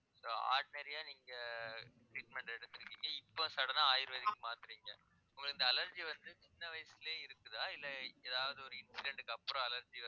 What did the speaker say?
so ordinary ஆ நீங்க treatment எடுத்திருக்கீங்க இப்ப sudden ஆ ayurvedic க்கு மாத்தறீங்க உங்களுக்கு இந்த allergy வந்து சின்ன வயசுலயே இருக்குதா இல்ல ஏதாவது ஒரு incident க்கு அப்புறம் allergy